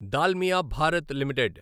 Dalmia Bharat limited